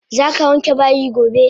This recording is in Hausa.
Zaka wanke bayi gobe!